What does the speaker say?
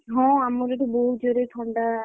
ହଁ ଆମର ଏଠି ବହୁତ ଜୋରେ ଥଣ୍ଡା।